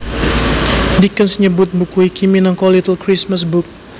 Dickens nyebut buku iki minangka Little Christmas Book